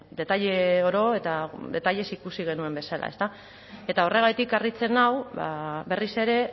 detaile oro eta detailez ikusi genuen bezala ezta eta horregatik harritzen nau berriz ere